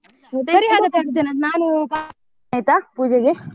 ಆಯ್ತಾ ಪೂಜೆಗೆ.